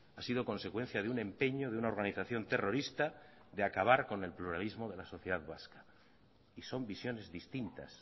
ha sido consecuencia de un empeño de una organización terrorista de acabar con el pluralismo de la sociedad vasca y son visiones distintas